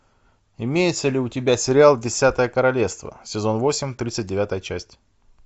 имеется ли у тебя сериал десятое королевство сезон восемь тридцать девятая часть